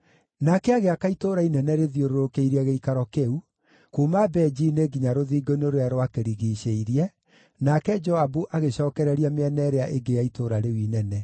Nake agĩaka itũũra inene rĩthiũrũrũkĩirie gĩikaro kĩu, kuuma benji-inĩ nginya rũthingo-inĩ rũrĩa rwakĩrigiicĩirie, nake Joabu agĩcookereria mĩena ĩrĩa ĩngĩ ya itũũra rĩu inene.